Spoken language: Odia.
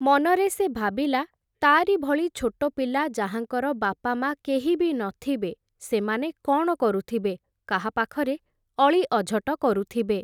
ମନରେ ସେ ଭାବିଲା, ତା’ରି ଭଳି ଛୋଟ ପିଲା ଯାହାଙ୍କର ବାପାମାଆ କେହି ବି ନ ଥିବେ ସେମାନେ କ’ଣ କରୁଥିବେ, କାହା ପାଖରେ ଅଳି ଅଝଟ କରୁଥିବେ ।